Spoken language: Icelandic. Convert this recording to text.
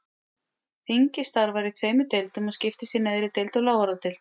Þingið starfar í tveimur deildum og skiptist í neðri deild og lávarðadeild.